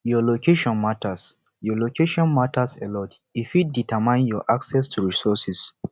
your location matters your location matters a lot e fit determine your access to resourses